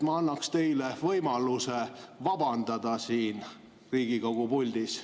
Ma annaksin teile võimaluse vabandada siin Riigikogu puldis.